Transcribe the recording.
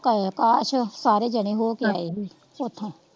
ਕਾਛ ਸਾਰੇ ਜਣੇ ਹੋਕੇ ਆਏ ਹੀ ਓਥੋਂ,